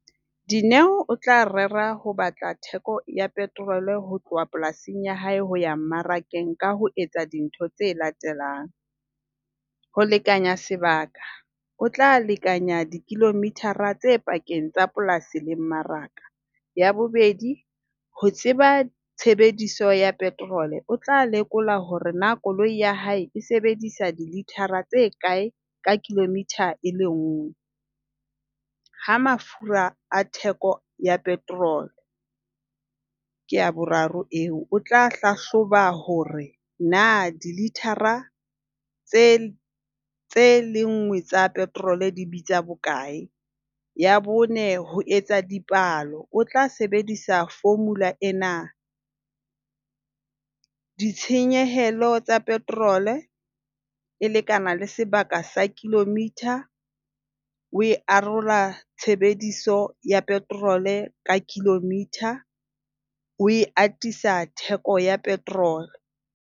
Dineo o tla rera ho batla theko ya petrol ho tloha polasing ya hae ho ya mmarakeng ka ho etsa dintho tse latelang. Ho lekanya sebaka. O tla lekanya di-kilometer-a tse pakeng tsa polasing le mmaraka. Ya bobedi, ho tseba tshebediso ya petrol. O tla lekola hore na koloi ya hae e sebedisa dilitara tse kae ka kilometre e le nngwe. Ha mafura a theko ya petrol, ke ya boraro eo. O tla hlahloba hore na dilitara tse tse le nngwe tsa petrol di bitsa bokae. Ya bone, ho etsa dipalo. O tla sebedisa formula ena. Ditshenyehelo tsa petrol e lekana le sebaka sa kilometre, o e arolwa tshebediso ya petrol ka kilometre. O e atisa theko ya petrol.